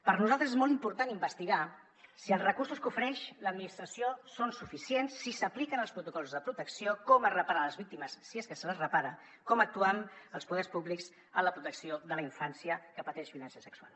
per nosaltres és molt important investigar si els recursos que ofereix l’administració són suficients si s’apliquen els protocols de protecció com es reparen les víctimes si és que se les repara com actuen els poders públics en la protecció de la infància que pateix violència sexual